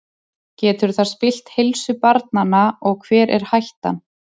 Getur það spillt heilsu barnanna og hver er hættan?